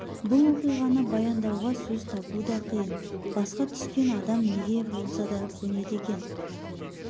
бұл оқиғаны баяндауға сөз табу да қиын басқа түскенде адам неге болса да көнеді екен